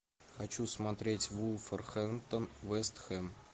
хочу смотреть вулверхэмптон вест хэм